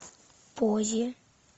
поззи